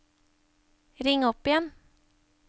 ring opp igjen